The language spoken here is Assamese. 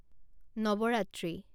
নৱৰাত্ৰি